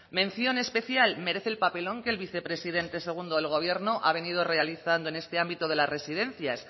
mención especial merece el papelón que el vicepresidente segundo del gobierno ha venido realizando en este ámbito de las residencias